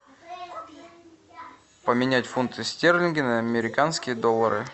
поменять фунты стерлинги на американские доллары